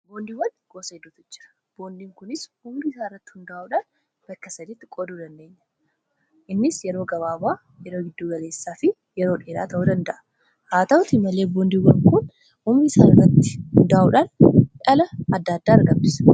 Boondiiwwan gosa boondiin kunis hundee isa irratti hundaa'udhaan. bakka saditti qoduu dandeenya. innis yeroo gabaabaa yeroo giddu galeessaa fi yeroo dheeraa ta'u danda'a. haa ta'uti malee boondiiwwan kun umurii isaa irratti hundaa'uudhaan dhala adda-addaa argamsiisa.